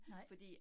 Nej